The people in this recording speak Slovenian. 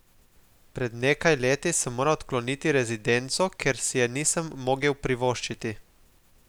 Pred nekaj leti sem moral odkloniti rezidenco, ker si je nisem mogel privoščiti.